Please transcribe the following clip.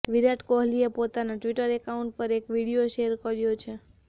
વિરાટ કોહલીએ પોતાના Twitter account પર એક વીડિયો શેર કર્યો છે